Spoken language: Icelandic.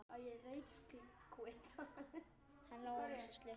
Hann lá eins og slytti.